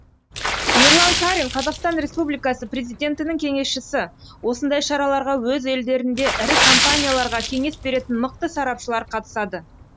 ерлан қарин қазақстан республикасы президентінің кеңесшісі осындай шараларға өз елдерінде ірі компанияларға кеңес беретін мықты сарапшылар қатысады